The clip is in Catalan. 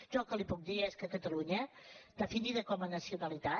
jo el que li puc dir és que catalunya definida com a nacionalitat